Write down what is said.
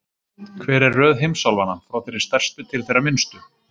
Hver er röð heimsálfanna, frá þeirri stærstu til þeirrar minnstu?